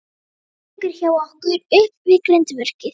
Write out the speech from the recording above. Pabbi liggur hjá okkur upp við grindverkið.